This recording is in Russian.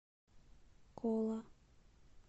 кола